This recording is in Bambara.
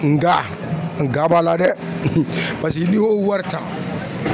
Nga nga b'a la dɛ paseke n'i y'o wari ta